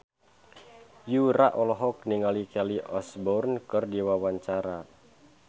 Yura olohok ningali Kelly Osbourne keur diwawancara